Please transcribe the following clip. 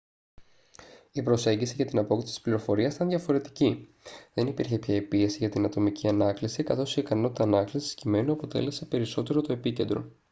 η προσέγγιση για την απόκτηση της πληροφορίας ήταν διαφορετική δεν υπήρχε πια η πίεση για την ατομική ανάκληση καθώς η ικανότητα ανάκλησης κειμένου αποτέλεσε περισσότερο το επίκεντρο